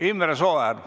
Imre Sooäär.